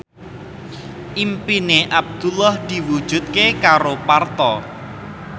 impine Abdullah diwujudke karo Parto